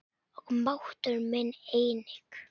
Og máttur minn einnig.